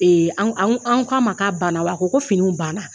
Anw anw anw K'a ma ka banna, wa a ko ko finiw banna.